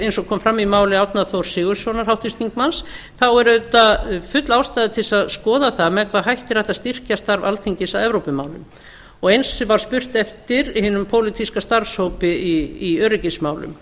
eins og kom fram í máli háttvirts þingmanns árna þórs sigurðssonar þá er auðvitað full ástæða til að skoða það með hvaða hætti er hægt að styrkja starf alþingis að evrópumálum og eins var styrkt eftir hinum pólitíska starfshópi í öryggismálum